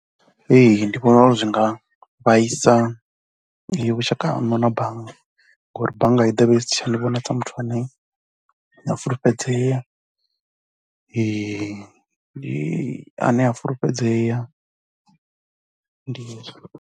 Ee ndi vhona uri zwi nga vhaisa vhushaka haṋu na bannga ngori bannga i ḓo vha i si tsha ni vhona sa muthu ane a fulufhedzea ae fulufhedzea ndi hezwo.